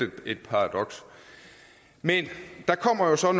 et paradoks men der kommer altså